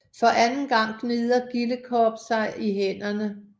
For anden gang gnider Gillekop sig i hænderne